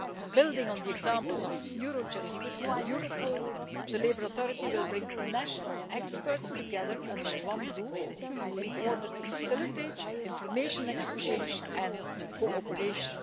Building on the examples of Eurojust and Europol, the European Labour Authority will bring national experts together under one roof in order to facilitate information exchange and cooperation.